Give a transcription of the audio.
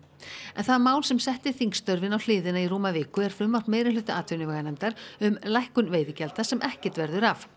en það mál sem setti þingstörfin á hliðina í rúma viku er frumvarp meirihluta atvinnuveganefndar um lækkun veiðigjalda sem ekkert verður af